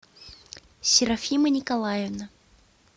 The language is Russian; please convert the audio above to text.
серафима николаевна